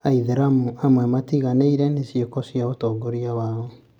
aithĩramu amwe matiganĩire nĩ ciĩko cia atongoria ao